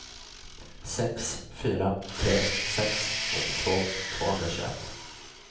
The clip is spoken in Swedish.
sex fyra tre sex sjuttiotvå tvåhundratjugoett